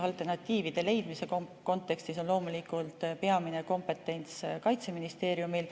Alternatiivide leidmise kontekstis on loomulikult peamine kompetents Kaitseministeeriumil.